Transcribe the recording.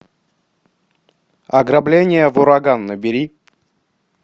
ограбление в ураган набери